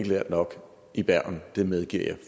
lært nok i bergen det medgiver jeg